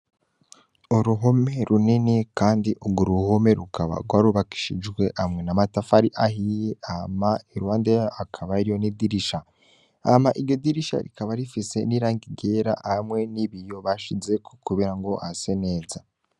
Uruhome runini kandi urwo ruhome rukaba rwarubakishijwe hamwe n'amatafari ahiye hama iruhande yaho hakaba yariyo n'idirisha hama iryo dirisha rikaba rifise n'irangi ryera hamwe n'ibiyo bashizeko kugira ngo hase neza.